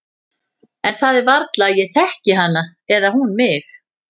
En það er varla að ég þekki hana eða hún mig.